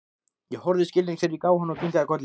Ég horfði skilningsrík á hann og kinkaði kolli.